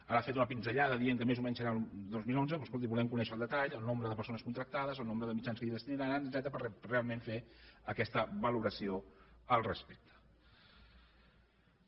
ara ha fet una pinzellada dient que més o menys serà al dos mil onze però escolti volem conèixer al detall el nombre de persones contractades el nombre de mitjans que hi destinaran etcètera per realment fer aquesta valoració respecte a això